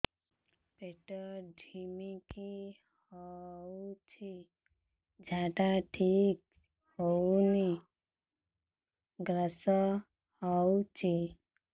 ପେଟ ଢିମିକି ରହୁଛି ଝାଡା ଠିକ୍ ହଉନି ଗ୍ୟାସ ହଉଚି